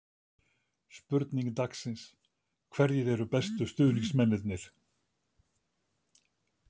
Spurning dagsins: Hverjir eru bestu stuðningsmennirnir?